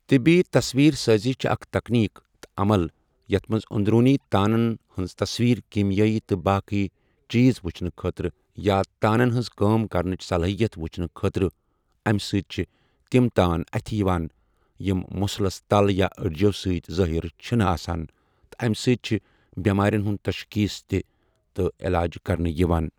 طِبی تَصویٖر سٲزی چھِ اَکھ تَکنیٖک تہٕ عَمل یَتھ مَنٛز اۆنٛدروٗنی تانَن ہٕنٛز تَصویٖر کیٖمیٲیی تہٕ باقی چیٖز وُچھنہٕ خٲطرٕ یا تانَن ہٕنٛز کٲم کَرنٕچ صَلٲہِیتھ وُچھنہٕ خٲطرٕ اَمہِ سٟتۍ چھِ تِم تان اَتھہٕ یِوان یِم مٕسلَس تَل یا أڈِجو سٟتؠ ظٲیِر چھِ نہٕ آسان تہٕ اَمہِ سۭتۍ چھِ بؠمارؠَن ہُنٛد تَشخیٖص تہِ تہٕ علاج کَرنہٕ یِوان.